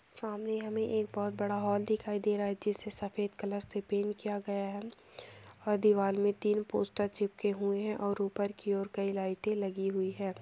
सामने हमें एक बहोत बड़ा हॉल दिखाई दे रहा है। जिससे सफेद कलर से पेंट किया गया है और दीवार में तीन पोस्टर चिपके हुए हैं और ऊपर की और कई लाइटे लगी हुई हैं।